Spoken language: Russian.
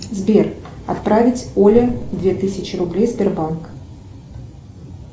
сбер отправить оле две тысячи рублей сбербанк